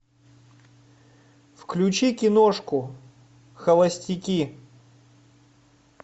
включи киношку холостяки